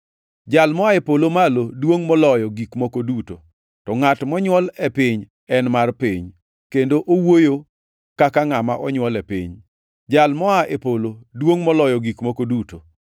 “Jal moa e polo malo duongʼ moloyo gik moko duto, to ngʼat monywol e piny en mar piny, kendo owuoyo kaka ngʼama onywol e piny. Jal moa e polo duongʼ moloyo gik moko duto.